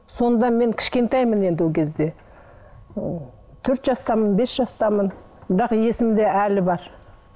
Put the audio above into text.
сонда мен кішкентаймын енді ол кезде ы төрт жастамын бес жастамын бірақ есімде әлі бар